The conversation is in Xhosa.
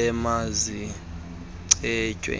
emazicetywe